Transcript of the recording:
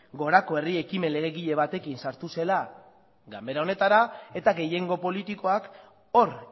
gorako herri ekimen legegile batekin sartu zela ganbara honetara eta gehiengo politikoak hor